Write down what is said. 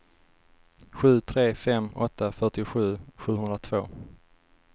sju tre fem åtta fyrtiosju sjuhundratvå